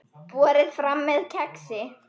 Borið fram með kexi.